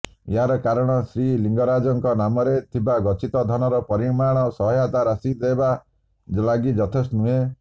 ଏହାର କାରଣ ଶ୍ରୀଲିଙ୍ଗରାଜଙ୍କ ନାମରେ ଥିବା ଗଚ୍ଛିତ ଧନର ପରିମାଣ ସହାୟତା ରାଶି ଦେବା ଲାଗି ଯଥେଷ୍ଟ ନୁହେଁ